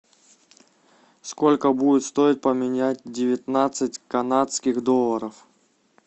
сколько будет стоить поменять девятнадцать канадских долларов